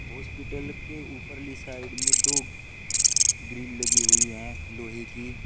Hospital के ऊपर ली साइड में दो ग्रिल लगी हुई है लोहे की।